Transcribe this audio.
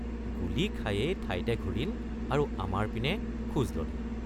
গুলী খায়েই ঠাইতে ঘূৰিল আৰু আমাৰ পিনে খোজ ললে।